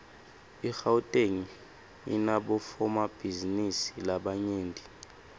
igauteng inabofomabhizinisi labanyent